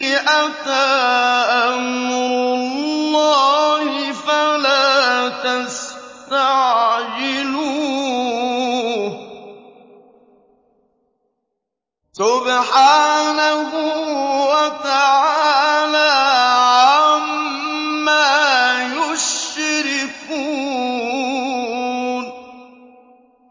أَتَىٰ أَمْرُ اللَّهِ فَلَا تَسْتَعْجِلُوهُ ۚ سُبْحَانَهُ وَتَعَالَىٰ عَمَّا يُشْرِكُونَ